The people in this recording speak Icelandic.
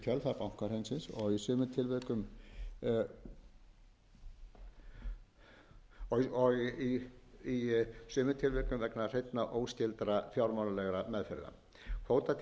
kjölfar bankahrunsins og í sumum tilvikum vegna hreinna óskyldra fjármálalegra meðferða kvótatilfærslur sem sagan segir að geti svipt heilu